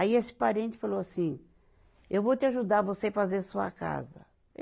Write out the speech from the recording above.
Aí esse parente falou assim, eu vou te ajudar você fazer sua casa.